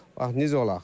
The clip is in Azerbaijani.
Bax necə olaq?